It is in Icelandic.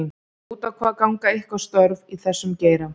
Út á hvað ganga ykkar störf í þessum geira?